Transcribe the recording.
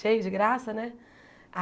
Cheio de graça, né?